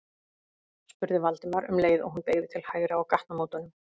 spurði Valdimar um leið og hún beygði til hægri á gatnamótunum.